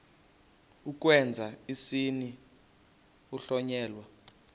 ukwenza isininzi kuhlonyelwa